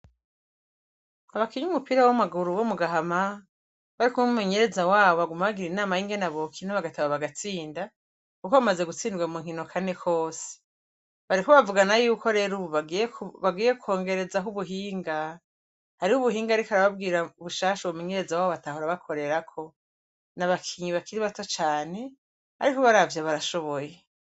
Abakinyi b'umupira w'amaguru womugahama barikumwe n'umumenyereza wabo baguma bagira inama yingene bokina bagateba bagatsinda kuko bamaze gutsindwa munkino kane kose. Bariko bavugana yuko rero ubu bagiye kwongerezako ubuhinga. Hariho ubuhinga ariko arababwira bushasha umunenyereza wabo batahora bakorerako; n'abakinyi bakiri bato cane ariko ubaravye barashoboye.